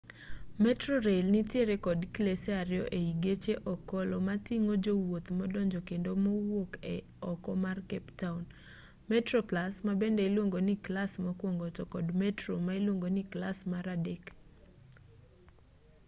metrorail nitiere kod klese ariyo ei geche okolo mating'o jowuoth madonjo kendo mawuok oko mar cape town: metroplus ma bende iluongo ni klas mokwongo to kod metro ma iluongo ni klas mar adek